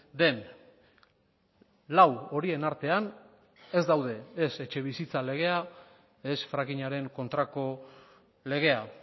den lau horien artean ez daude ez etxebizitza legea ez frackingaren kontrako legea